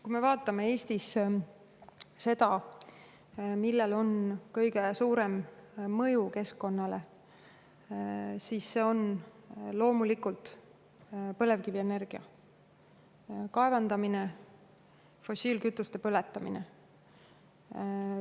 Kui me vaatame Eestis seda, millel on kõige suurem mõju keskkonnale, siis need on loomulikult põlevkivienergia: kaevandamine ja fossiilkütuste põletamine.